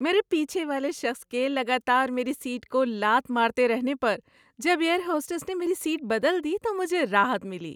میرے پیچھے والے شخص کے لگاتار میری سیٹ کو لات مارتے رہنے پر جب ایئر ہوسٹس نے میری سیٹ بدل دی تو مجھے راحت ملی۔